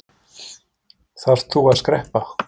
Þarft þú að skreppa?